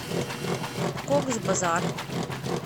кокс базар